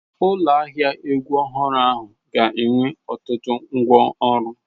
Ụlọ ahịa egwu ọhụrụ ahụ ga-enwe ọtụtụ ngwá ọrụ.